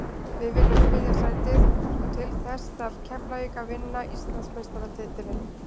Við viljum þriðja sætið og til þess þarf Keflavík að vinna og vinna Íslandsmeistaratitilinn.